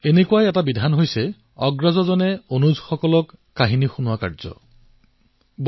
এনেকুৱাই এক বিধি যি মই কলো সেয়া হল সাধু শুনোৱাৰ কলা ষ্টৰী টেলিং